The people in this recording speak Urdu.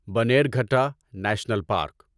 Bannerghatta national park